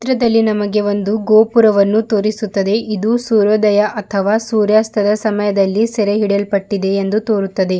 ಚಿತ್ರದಲ್ಲಿ ನಮಗೆ ಒಂದು ಗೋಪುರವನ್ನು ತೋರಿಸುತ್ತದೆ ಇದು ಸೂರ್ಯೋದಯ ಅಥವಾ ಸೂರ್ಯಾಸ್ತದ ಸಮಯದಲ್ಲಿ ಸೆರೆ ಹಿಡಿಯಲ್ಪಟ್ಟಿದೆ ಎಂದು ತೋರುತ್ತದೆ.